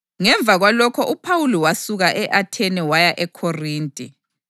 Ngemva kwalokho uPhawuli wasuka e-Athene waya eKhorinte.